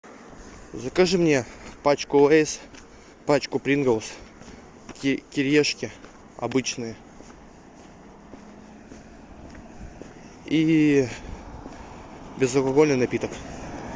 закажи мне пачку лейс пачку принглс кириешки обычные и безалкогольный напиток